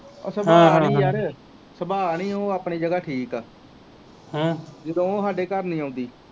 ਸੁਭਾਅ ਨੀ ਯਾਰ ਸੁਭਾਅ ਨੀ ਉਹ ਆਪਣੀ ਜਗਾ ਠੀਕ ਆ ਜਦੋ ਉਹ ਸਾਡੇ ਘਰ ਨੀ ਆਉਂਦੀ